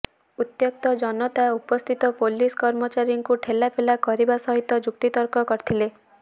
ଉତ୍ୟକ୍ତ ଜନତା ଉପସ୍ଥିତ ପୁଲିସ୍ କର୍ମଚାରୀଙ୍କୁ ଠେଲାପେଲା କରିବା ସହିତ ଯୁକ୍ତିତର୍କ କରିଥିଲେ